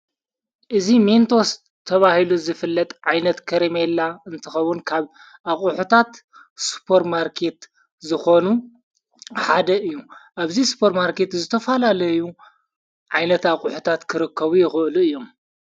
እዝ ሜንቶወስ ተብሂሉ ዝፍለጥ ዓይነት ከሬመየላ እንትኸቡን ካብ ኣቝሑታት ስጶር ማርከት ዝኾኑ ሓደ እዩ እብዙይ ስጶር ማርከት ዝተፋላለ እዩ ዓይነት ኣቝሑታት ክርክቡ የሉ እዮም::